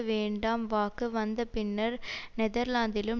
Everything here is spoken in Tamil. வேண்டாம் வாக்கு வந்தபின்னர் நெதர்லாந்திலும்